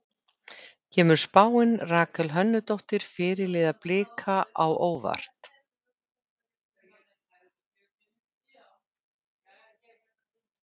Kemur spáin Rakel Hönnudóttur, fyrirliða Blika á óvart?